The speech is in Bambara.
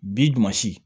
Bi damasi